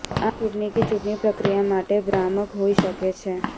આ ચૂંટણી કે ચૂંટણી પ્રક્રિયા માટે ભ્રામક હોઈ શકે છે